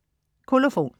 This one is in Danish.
Kolofon